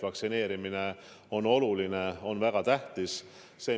Vaktsineerimine on oluline, väga tähtis.